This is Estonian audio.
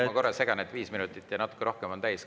Hea kolleeg, ma korra segan, viis minutit ja natuke rohkem on täis.